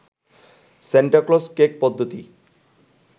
Santa Claus cake পদ্ধতি